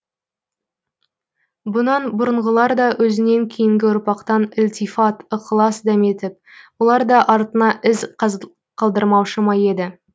бұнан бұрынғылар да өзінен кейінгі ұрпақтан ілтифат ықылас дәметіп олар да артына із қалдырмаушы ма еді